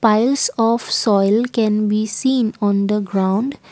piles of soil can be seen on the ground.